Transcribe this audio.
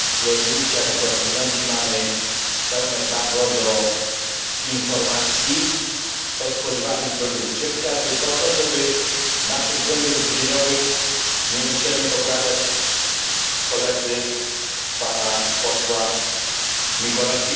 Oczywiście jako konsumenci mamy pełne prawo do informacji o spożywanym produkcie, chociażby po to, żeby naszych błędów żywieniowych nie musieli poprawiać koledzy pana posła Mikolášika.